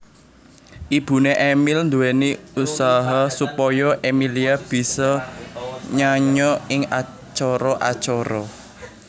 Ibuné Emil nduwéni usaha supaya Emillia bisa nyanyo ing acara acara